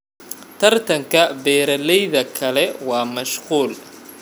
Tartanka beeralayda kale waa mashquul.